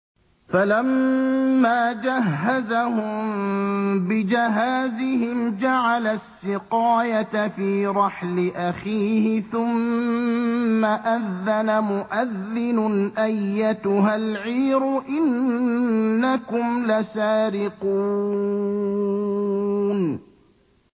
فَلَمَّا جَهَّزَهُم بِجَهَازِهِمْ جَعَلَ السِّقَايَةَ فِي رَحْلِ أَخِيهِ ثُمَّ أَذَّنَ مُؤَذِّنٌ أَيَّتُهَا الْعِيرُ إِنَّكُمْ لَسَارِقُونَ